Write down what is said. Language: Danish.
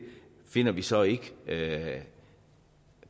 finder vi så ikke